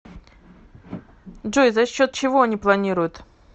джой за счет чего они планируют